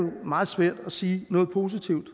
meget svært at sige noget positivt